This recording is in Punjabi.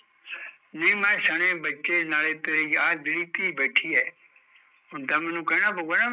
ਨਹੀਂ ਮੈਂ ਸਣੇ ਬੱਚੇ ਤੇ ਨਾਲੇ ਤੇਰੀ ਇਹ ਆਹ ਜਿਹੜੀ ਧੀ ਬੈਠੀ ਐ ਹੁਣ ਤਾਂ ਮੈਂਨੂੰ ਕਹਿਣਾ ਪਾਊਗਾ ਨਾ